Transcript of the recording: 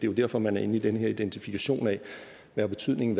jo derfor man er inde i den her identifikation af hvad betydningen